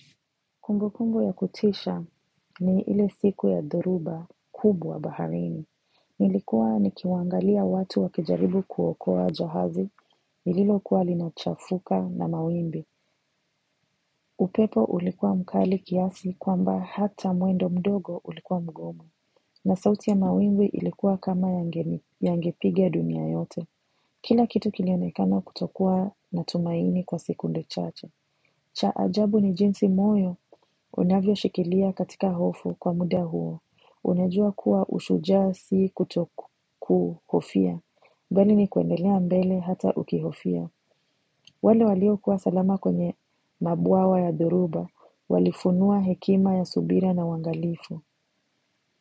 Kumbukumbu ya kutisha ni ile siku ya dhoruba kubwa baharini. Nilikuwa nikiwaangalia watu wakijaribu kuokoa jahazi, lililokuwa linachafuka na mawimbi. Upepo ulikuwa mkali kiasi kwamba hata mwendo mdogo ulikuwa mgomo. Na sauti ya mawimbi ilikuwa kama yange ni, yangepiga dunia yote. Kila kitu kilionekana kutokuwa na tumaini kwa sekunde chache. Cha ajabu ni jinsi moyo unavyoshikilia katika hofu kwa muda huo. Unajua kuwa ushujaa si kutokuhofia. Bali ni kuendelea mbele hata ukihofia. Wale waliokuwa salama kwenye mabwawa ya dhoruba. Walifunua hekima ya subira na uangalifu.